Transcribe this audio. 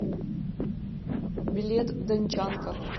билет дончанка